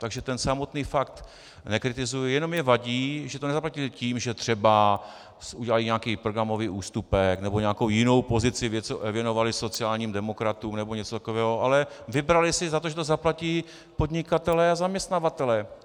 Takže ten samotný fakt nekritizuji, jenom mi vadí, že to nezaplatili tím, že třeba udělali nějaký programový ústupek nebo nějakou jinou pozici věnovali sociálním demokratům nebo něco takového, ale vybrali si za to, že to zaplatí podnikatelé a zaměstnavatelé.